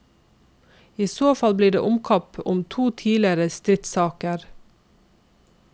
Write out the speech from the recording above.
I så fall blir det omkamp om to tidligere stridssaker.